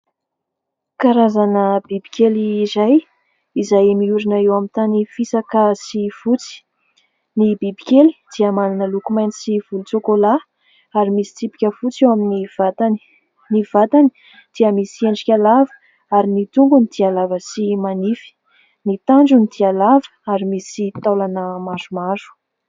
Karazana bibikely iray izay miorina eo amin'ny tany fisaka sy fotsy. Ny bibikely dia manana loko mainty sy volontsokolà, ary misy tsipika fotsy eo amin'ny vatany. Ny vatany dia misy endrika lava, ary ny tongony dia lava sy manify. Ny tandrony dia lava ary misy taolana maromaro.